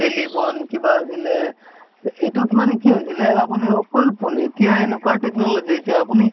telephone কিবা আছিলে, এটোত মানে কি হৈছিলে আপুনি অকল phone এতিয়া এনকা technology হৈছে আপুনি